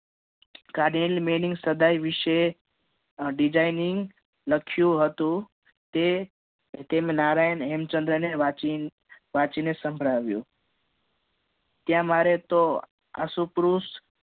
સદાય વિશે અમ designing લખ્યું હતું તે નારાયણ હેમચંદ્ર ને વાંચી ને સંભળાવ્યું ત્યાં મારે તો આસુક્રુસ